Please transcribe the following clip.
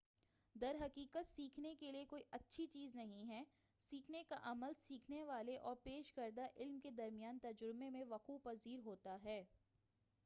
در حقیقت سیکھنے کے لئے کوئی اچھی چیز نہیں ہے سیکھنے کا عمل سیکھنے والے اور پیش کردہ علم کے درمیان تجربے میں وقوع پذیر ہوتا ہے